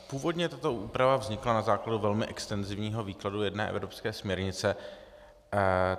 Původně tato úprava vznikla na základě velmi extenzivního výkladu jedné evropské směrnice.